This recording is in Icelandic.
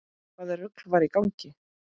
Hvaða rugl var í gangi?